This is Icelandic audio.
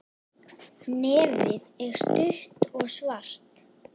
Nefið er stutt og svart.